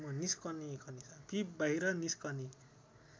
पीप बाहिर निस्कने